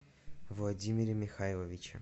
владимире михайловиче